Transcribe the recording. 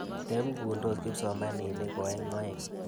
Tep ng'undos kipsomaninik ko aeng' aeng'.